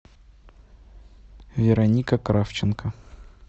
вероника кравченко